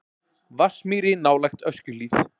Vatnsmýri nálægt Öskjuhlíð.